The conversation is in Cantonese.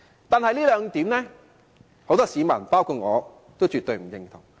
但是，很多市民，包括我，對這兩點絕不認同。